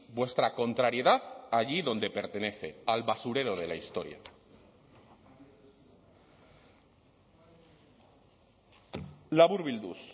vuestra contrariedad allí donde pertenece al basurero de la historia laburbilduz